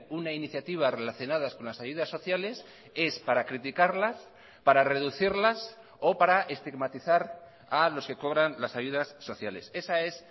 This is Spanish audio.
una iniciativa relacionadas con las ayudas sociales es para criticarlas para reducirlas o para estigmatizar a los que cobran las ayudas sociales esa es